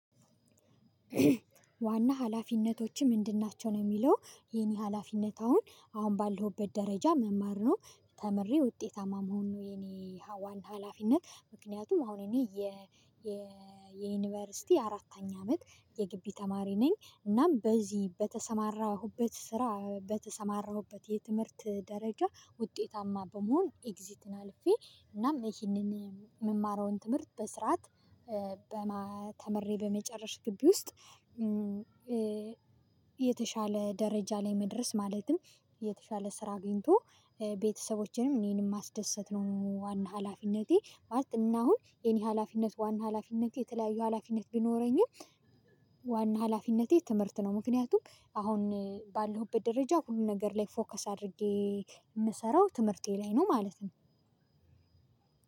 "ዋና ሀላፊነቶችህ ምንድን ናቸው?" ነው የሚለው፣ የኔ ሀላፊነት አሁን፣ አሁን ባለሁበት ደረጃ መማር ነው። ተምሬ ውጤታማ መሆን ነው የኔ ዋና ሀላፊነት። ምክንያቱም አሁን እኔ የ የ የዩኒቨርሲቲ አራተኛ አመት የጊቢ ተማሪ ነኝ። እናም በዚህ በተሰማራሁበት ስራ በተሰማራሁበት የትምህርት ደረጃ ውጤታማ በመሆን ኤግዚትን አልፌ፤ እናም ይሄንን የምማረውን ትምህርት በስርዓት በማ ተምሬ በመጨረስ ግቢ ውስጥ የተሻለ ደረጃ ላይ መድረስ፤ ማለትም የተሻለ ስራ አግኝቶ ቤተሰቦቼንም እኔንም ማስደሰት ነው ዋና ሀላፊነቴ። ማለት እና አሁን የኔ ሀላፊነት ዋና ሀላፊነት የተለያዩ ሀላፊነት ቢኖረኝም ዋና ሀላፊነቴ ትምህርት ነው። ምክንያቱም አሁን ባለሁበት ደረጃ ሁሉ ነገር ላይ ፎከስ አድርጌ የምሰራው ትምህርቴ ላይ ነው ማለት ነው።